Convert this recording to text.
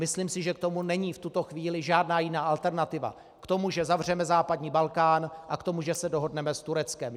Myslím si, že k tomu není v tuto chvíli žádná jiná alternativa - k tomu, že zavřeme západní Balkán, a k tomu, že se dohodneme s Tureckem.